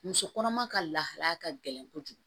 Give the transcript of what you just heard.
Muso kɔnɔma ka lahalaya ka gɛlɛn kojugu